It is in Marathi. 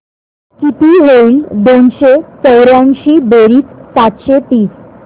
किती होईल दोनशे चौर्याऐंशी बेरीज सातशे तीस